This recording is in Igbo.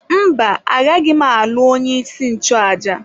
Mba, agaghị m alụ onye isi nchụaja.